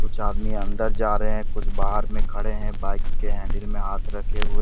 कुछ आदमी अंदर जा रहे हैं कुछ बाहर में खड़े हैं बाइक के हैंडल में हाथ रखे हुए।